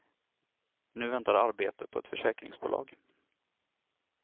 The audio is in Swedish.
Nu väntar arbete på ett försäkringsbolag.